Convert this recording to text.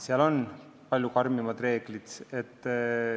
Seal on palju karmimad reeglid.